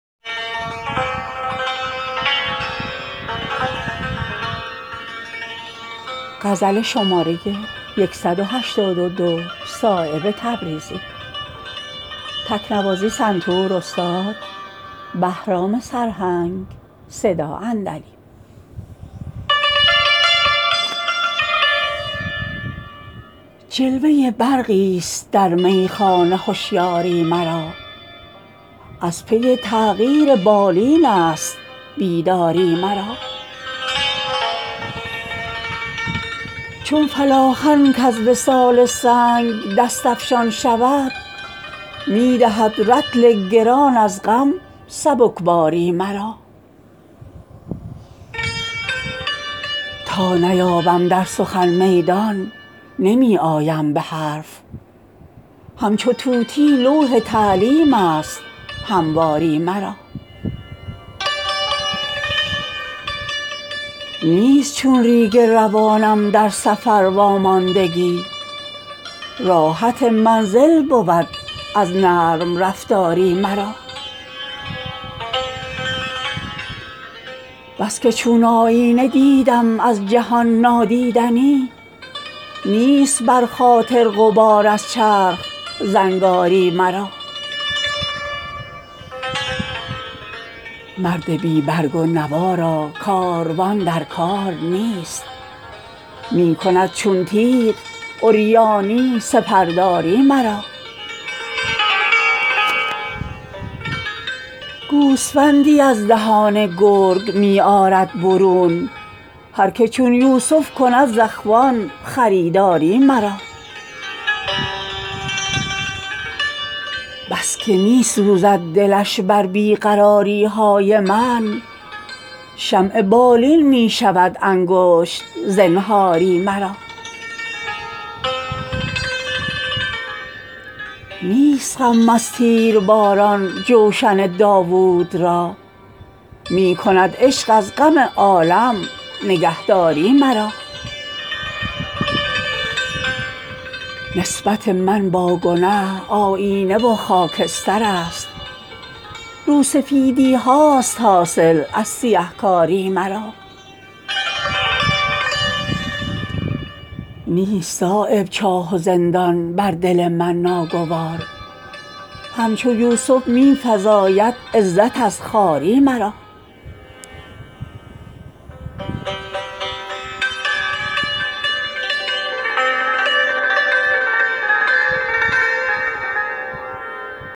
جلوه برقی است در میخانه هشیاری مرا از پی تغییر بالین است بیداری مرا چون فلاخن کز وصال سنگ دست افشان شود می دهد رطل گران از غم سبکباری مرا تا نیابم در سخن میدان نمی آیم به حرف همچو طوطی لوح تعلیم است همواری مرا نیست چون ریگ روانم در سفر واماندگی راحت منزل بود از نرم رفتاری مرا بس که چون آیینه دیدم از جهان نادیدنی نیست بر خاطر غبار از چرخ زنگاری مرا مرد بی برگ و نوا را کاروان در کار نیست می کند چون تیغ عریانی سپر داری مرا گوسفندی از دهان گرگ می آرد برون هر که چون یوسف کند ز اخوان خریداری مرا بس که می سوزد دلش بر بی قراری های من شمع بالین می شود انگشت زنهاری مرا نیست غم از تیر باران جوشن داود را می کند عشق از غم عالم نگهداری مرا نسبت من با گنه آیینه و خاکسترست روسفیدی هاست حاصل از سیه کاری مرا نیست صایب چاه و زندان بر دل من ناگوار همچو یوسف می فزاید عزت از خواری مرا